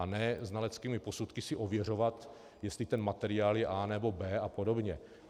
A ne znaleckými posudky si ověřovat, jestli ten materiál je A nebo B a podobně.